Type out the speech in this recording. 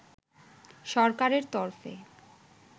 সরকারের তরফে